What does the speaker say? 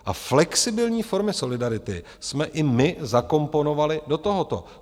A flexibilní formy solidarity jsme i my zakomponovali do tohoto.